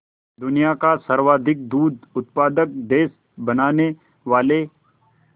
दुनिया का सर्वाधिक दूध उत्पादक देश बनाने वाले